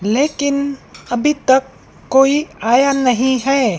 लेकिन अभी तक कोई आया नहीं है।